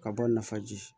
Ka bɔ nafaji